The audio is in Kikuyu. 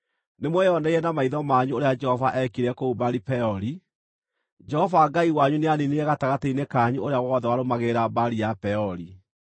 Nĩmweyoneire na maitho manyu ũrĩa Jehova eekire kũu Baali-Peori. Jehova Ngai wanyu nĩaniinire gatagatĩ-inĩ kanyu ũrĩa wothe warũmagĩrĩra Baali ya Peori,